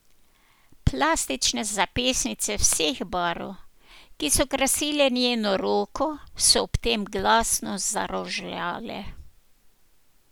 Plastične zapestnice vseh barv, ki so krasile njeno roko, so ob tem glasno zarožljale.